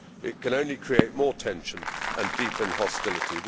It can only create more tension and deepen hostility.